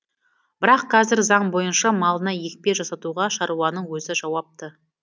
бірақ қазір заң бойынша малына екпе жасатуға шаруаның өзі жауапты